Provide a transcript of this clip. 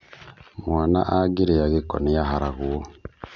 Mwana angĩrĩa gĩko nĩaharagwo